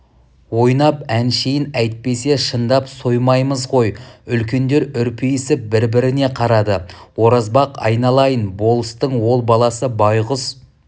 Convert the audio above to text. ойнап әншейін әйтпесе шындап соймаймыз ғой үлкендер үрпиісіп бір-біріне қарады оразбақ айналайын болыстың ол баласы байғұс